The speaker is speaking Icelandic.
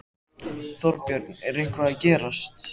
Þorbjörn: Er eitthvað að gerast?